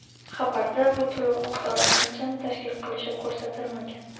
Xabarda bu to‘lov miqdori qanchani tashkil qilishi ko‘rsatilmagan.